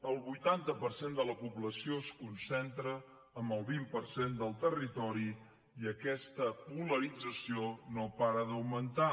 el vuitanta per cent de la població es concentra en el vint per cent del territori i aquesta polarització no para d’augmentar